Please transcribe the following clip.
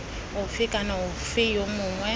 ofe kana ofe yo mongwe